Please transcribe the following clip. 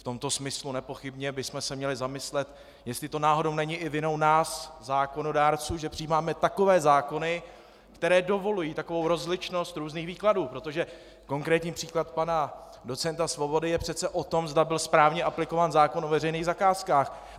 V tomto smyslu nepochybně bychom se měli zamyslet, jestli to náhodou není i vinou nás zákonodárců, že přijímáme takové zákony, které dovolují takovou rozličnost různých výkladů, protože konkrétní příklad pana docenta Svobody je přece o tom, zda byl správně aplikován zákon o veřejných zakázkách.